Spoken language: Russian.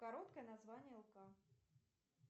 короткое название лк